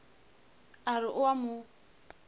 a re o a mo